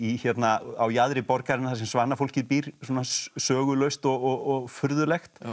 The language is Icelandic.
á jaðri borgarinnar þar sem svanafólkið býr svona sögulaust og furðulegt